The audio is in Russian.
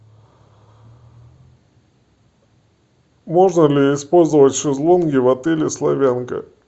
можно ли использовать шезлонги в отеле славянка